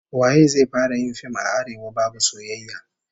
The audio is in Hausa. Waye zai fara yin fim a Arewa babu soyayya?